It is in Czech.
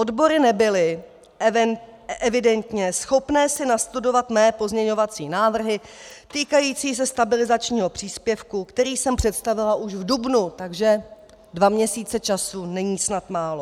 Odbory nebyly evidentně schopné si nastudovat mé pozměňovací návrhy týkající se stabilizačního příspěvku, který jsem představila už v dubnu, takže dva měsíce času není snad málo.